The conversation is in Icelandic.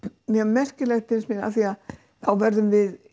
mjög merkilegt finnst mér af því þá verðum við